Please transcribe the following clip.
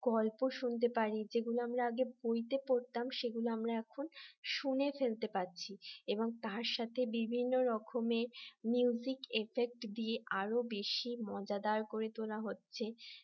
গল্প শুনতে পারি যেগুলো আমি আগে বইতে পড়তাম সেগুলো আমরা এখন শুনে ফেলতে পারছি এবং তার সাথে বিভিন্ন রকমের effect দিয়ে আরো বেশি মজাদার করে তোলা হচ্ছে